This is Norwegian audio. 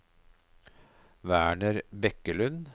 Werner Bekkelund